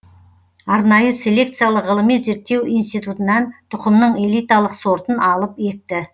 арнайы селекциялық ғылыми зерттеу институтынан тұқымның элиталық сортын алып екті